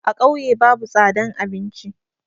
A ƙauye babu tsadan abinci.